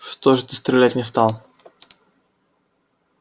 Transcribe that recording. что же ты стрелять не стал